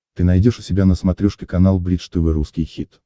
ты найдешь у себя на смотрешке канал бридж тв русский хит